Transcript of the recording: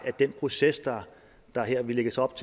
at den proces der her lægges op